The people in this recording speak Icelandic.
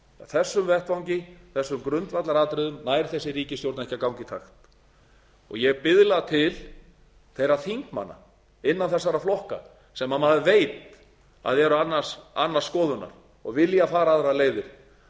þessum vettvangi í þessum grundvallaratriðum nær þessi ríkisstjórn ekki að ganga í takt og ég biðla til þeirra þingmanna innan þessara flokka sem maður árið að eru annarrar skoðunar og vilja fara aðrar leiðir